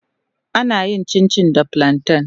Ana yin Cincin da plawa.